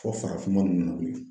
Fɔ farafinman ninnu nana wili